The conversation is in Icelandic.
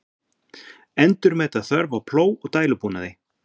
Endurmeta þörf á plóg og dælubúnaði